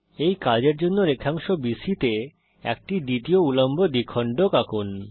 এই কাজের জন্যে রেখাংশ BCতে একটি দ্বিতীয় উল্লম্ব দ্বিখণ্ডক আঁকুন